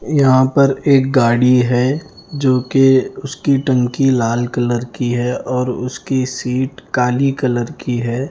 यहां पर एक गाड़ी है जोकि उसकी टंकी लाल कलर की है और उसकी सीट काली कलर की है।